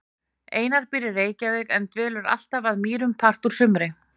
Einar býr í Reykjavík en dvelur alltaf að Mýrum part úr sumri.